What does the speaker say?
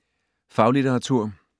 Faglitteratur